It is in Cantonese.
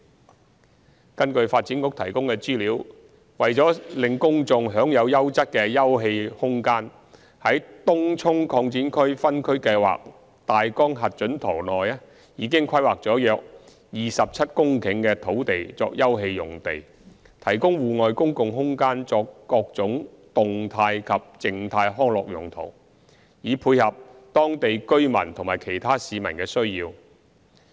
三根據發展局提供的資料，為使公眾享有優質的休憩空間，在《東涌擴展區分區計劃大綱核准圖》內已規劃了約27公頃的土地作休憩用地，提供戶外公共空間作各種動態及/或靜態康樂用途，以配合當地居民和其他市民的需要。